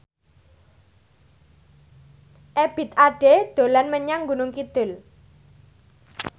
Ebith Ade dolan menyang Gunung Kidul